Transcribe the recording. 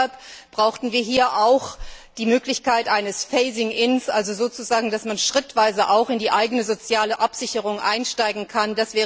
Deshalb brauchen wir hier auch die Möglichkeit eines Phasing in also sozusagen dass man schrittweise auch in die eigene soziale Absicherung einsteigen